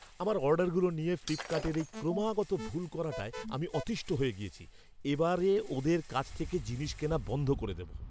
আমার অর্ডারগুলো নিয়ে ফ্লিপকার্টের এই ক্রমাগত ভুল করাটায় আমি অতীষ্ঠ হয়ে গিয়েছি, এবারে ওদের কাছ থেকে জিনিস কেনা বন্ধ করে দেব।